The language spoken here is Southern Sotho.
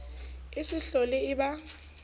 e se hlole e ba